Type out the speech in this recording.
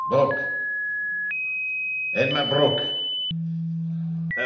Herr Präsident, Herr Vizepräsident, Herr Ratspräsident, Kolleginnen und Kollegen!